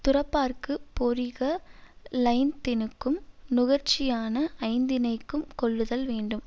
துறப்பார்க்குப் பொறிக ளைந்தினுக்கும் நுகர்ச்சியான ஐந்தினைக்கும் கொல்லுதல் வேண்டும்